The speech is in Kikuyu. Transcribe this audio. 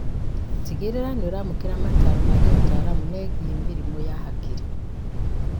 Tigĩrĩra nĩũramũkĩra mataro ma gĩũtaramu megiĩ mĩrimũ ya hakiri